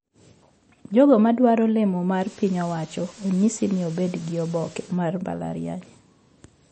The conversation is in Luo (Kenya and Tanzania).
Jogo ma dwaro lemo mar piny owacho onyisi ni obedgi oboke mar mbalariany